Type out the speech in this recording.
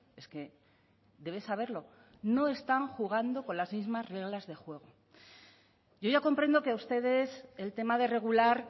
es que debe saberlo no están jugando con las mismas reglas de juego yo ya comprendo que a ustedes el tema de regular